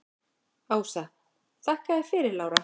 Ása: Þakka þér fyrir Lára.